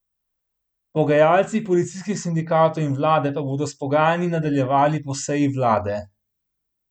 Pogajalci policijskih sindikatov in vlade pa bodo s pogajanji nadaljevali po seji vlade.